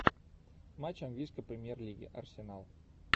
матч английской премьер лиги арсенал